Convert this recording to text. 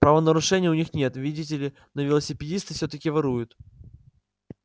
правонарушений у них нет видите ли но велосипедисты всё-таки воруют